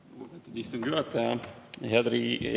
Lugupeetud istungi juhataja!